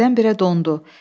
Birdən-birə dondu.